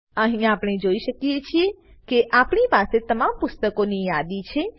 અહીં આપણે જોઈ શકીએ છીએ કે આપણી પાસે તમામ પુસ્તકોની યાદી છે